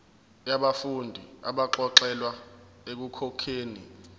yabafundi abaxolelwa ekukhokheni